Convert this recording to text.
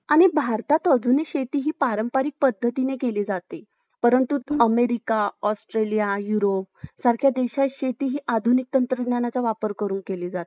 आणि भारतात अजूनही शेतीही पारंपारिक पद्धतीने केली जाते परंतु America , Australia , Europe सारख्या देशात शेती ही आधुनिक तंत्रज्ञानाचा वापर करून केली जाते